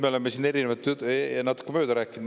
Me oleme siin erinevat juttu ja natuke mööda rääkinud.